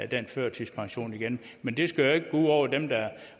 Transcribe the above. den førtidspension igen men det skal jo ikke gå ud over dem der